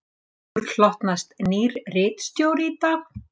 Okkur hlotnast nýr ritstjóri í dag.